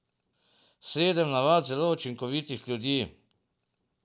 Sedem navad zelo učinkovitih ljudi.